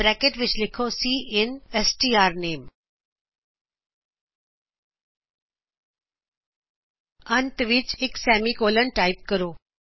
bracket ਵਿੱਚ ਲਿਖੋ ਸਿਨ ਸਟਰਨੇਮ ਅੰਤ ਵਿੱਚ ਇਕ ਸੈਮਿਕੋਲਨ ਟਾਇਪ ਕਰੋ